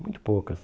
Muito poucas.